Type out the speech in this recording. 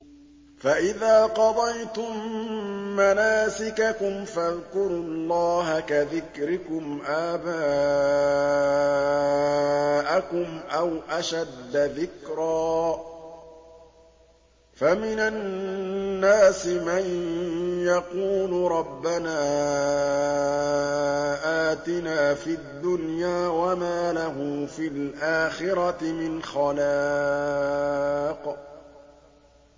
فَإِذَا قَضَيْتُم مَّنَاسِكَكُمْ فَاذْكُرُوا اللَّهَ كَذِكْرِكُمْ آبَاءَكُمْ أَوْ أَشَدَّ ذِكْرًا ۗ فَمِنَ النَّاسِ مَن يَقُولُ رَبَّنَا آتِنَا فِي الدُّنْيَا وَمَا لَهُ فِي الْآخِرَةِ مِنْ خَلَاقٍ